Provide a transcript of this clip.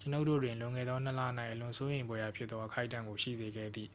ကျွန်ုပ်တို့တွင် လွန်ခဲ့သောနှစ်လ၌ အလွန်စိုးရိမ်ဖွယ်ရာဖြစ်သော အခိုက်အတန့်ကို ရှိစေခဲ့သည့်